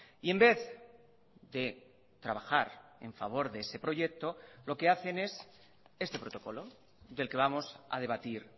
y en vez de trabajar en favor de ese proyecto lo que hacen es este protocolo del que vamos a debatir